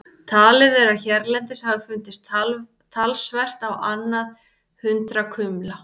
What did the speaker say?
Talið er að hérlendis hafi fundist talsvert á annað hundrað kumla.